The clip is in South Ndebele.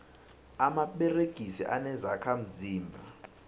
amaperegisi anezokha mzimba